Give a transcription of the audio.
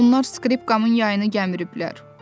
Onlar skripkamın yayını gəmibdilər.